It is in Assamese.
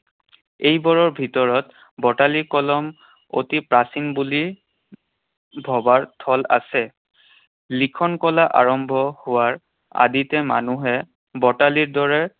এইবোৰৰ ভিতৰত বটালি কলম অতি প্ৰাচীন বুলি ভবাৰ থল আছে। লিখনকলা আৰম্ভ হোৱাৰ আদিতে মানুহে বটালিৰ দৰে